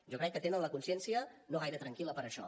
jo crec que tenen la consciència no gaire tranquil·la per això